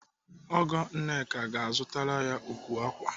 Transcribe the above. Ọgọ Nneka ọ ga-azụtara ya ukwu ákwà?